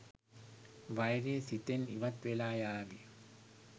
වෛරය සිතෙන් ඉවත් වෙලා යාවි